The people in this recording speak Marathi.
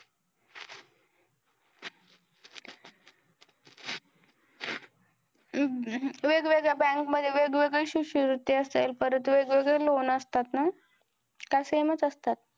वेगवेगळ्या bank मध्ये वेगवेगळी शिष्यवृत्ती असेल परत वेगवेगळं loan असतात ना काय same असतात?